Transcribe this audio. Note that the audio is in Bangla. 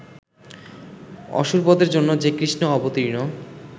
অসুরবধের জন্য যে কৃষ্ণ অবতীর্ণ